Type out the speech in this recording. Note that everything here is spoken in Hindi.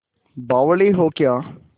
बावली हो क्या